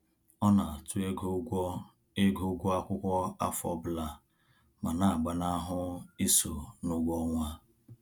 Ọ na àtụ́ ego ụgwọ ego ụgwọ akwụkwọ afọ ọbụla ma na-agbanahụ iso n'ụgwọ ọnwa